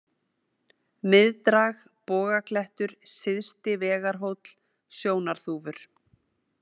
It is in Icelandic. Miðdrag, Bogaklettur, Syðsti-Vegarhóll, Sjónarþúfur